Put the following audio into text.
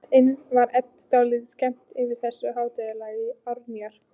Innst inni var Eddu dálítið skemmt yfir þessu háttalagi Árnýjar.